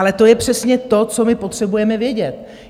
Ale to je přesně to, co my potřebujeme vědět.